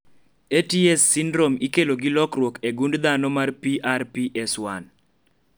Ats sindrom ikelo gi lokruok e gund dhano mar PRPS1